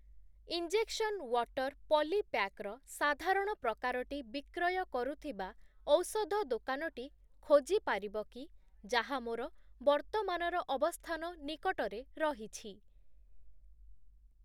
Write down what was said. Injection water polypack ର ସାଧାରଣ ପ୍ରକାରଟି ବିକ୍ରୟ କରୁଥିବା ଔଷଧ ଦୋକାନଟି ଖୋଜିପାରିବ କି ଯାହା ମୋର ବର୍ତ୍ତମାନର ଅବସ୍ଥାନ ନିକଟରେ ରହିଛି ?